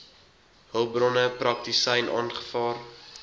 hulpbronne praktisyn aangevra